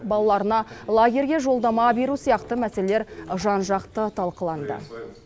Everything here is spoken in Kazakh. балаларына лагерьге жолдама беру сияқты мәселелер жан жақты талқыланды